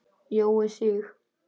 Jói Sig.